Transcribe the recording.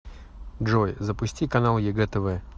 джой запусти канал егэ тв